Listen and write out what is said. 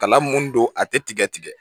Kala mun don a tɛ tigɛ tigɛ